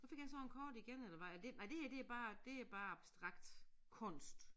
Så fik jeg sådan kort igen eller hvad er det nej det her det bare det er bare abstrakt kunst